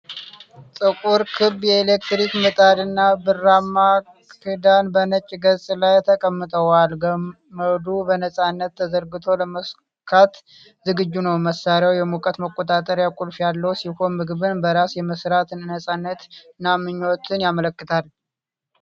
ጥቁር ክብ የኤሌክትሪክ ምጣድ እና ብርማ ክዳን በነጭ ገጽ ላይ ተቀምጠዋል። ገመዱ በነፃነት ተዘርግቶ ለመሰካት ዝግጁ ነው። መሳሪያው የሙቀት መቆጣጠሪያ ቁልፍ ያለው ሲሆን ምግብን በራስ የመስራት ነፃነትን እና ምቾትን ያመለክታል።